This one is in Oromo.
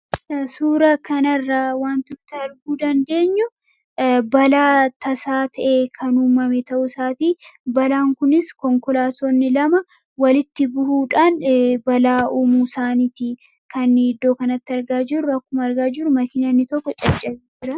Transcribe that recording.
Suura kanarraa wanti nuti arguu dandeenyu balaa tasaa ta'e kan uumame ta'uu isaatii . Balaan kunis konkolaatonni lama walitti bu'uudhaan balaa uumuu isaaniitii kan iddoo kanatti argaa jiru akkuma argaa jirru makiinaa inni tokko caccabuusaati.